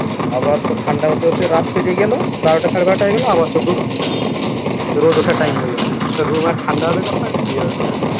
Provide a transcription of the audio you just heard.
আবার তোর ঠান্ডা হতে হতে রাত্রি গেলো বারোটা সাড়ে বারোটা হয়ে গেলো আবার তো রোদ ওঠার time হয়ে গেলো তোর room আর ঠান্ডা হবে কখন কি হবে কখন